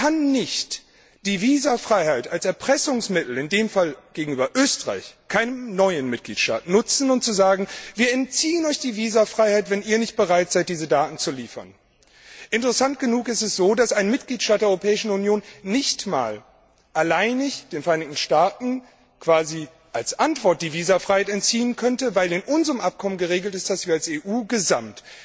Man kann nicht die Visafreiheit als Erpressungsmittel in dem Fall gegenüber Österreich, keinem neuen Mitgliedstaat nutzen und sagen Wir entziehen Euch die Visafreiheit, wenn ihr nicht bereit seid, diese Daten zu liefern. Interessant ist, dass ein Mitgliedstaat der Europäischen Union den Vereinigten Staaten nicht einmal alleinig quasi als Antwort die Visafreiheit entziehen könnte, weil in unserem Abkommen geregelt ist, dass wir als EU insgesamt